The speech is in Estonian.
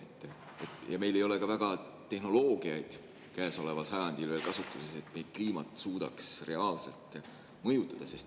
Ja meie käsutuses ei ole käesoleval sajandil veel ka tehnoloogiaid, et me kliimat suudaks reaalselt mõjutada.